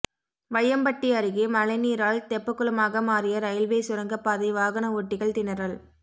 வையம்பட்டி அருகே மழைநீரால் தெப்பகுளமாக மாறிய ரயில்வே சுரங்கப்பாதை வாகன ஓட்டிகள் திணறல்